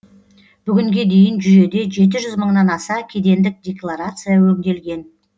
бүгінге дейін жүйеде жеті жүз мыңнан аса кедендік декларация өңделген